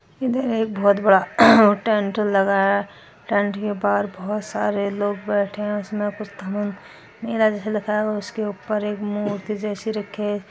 इधर एक बहुत बड़ा टेंट लगा है। टेंट के पार बहुत सारे लोग बैठे है उसमे उसके ऊपर मूर्ति जैसे रखी है।